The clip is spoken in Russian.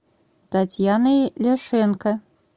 татьяной ляшенко